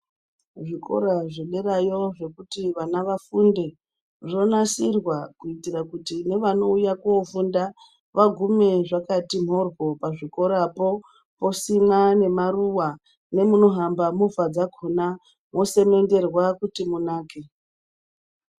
Zvikora zvederayo zvekuti vana vafunde, zvonasirwa kuitra kuto nevanouyawo kofunda vagume zvakati nhorwo pazvikorapo, posimwa nemaruwa nemunohamba motikari dzakona mosemenderwa kuti munake